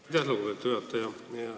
Aitäh, lugupeetud juhataja!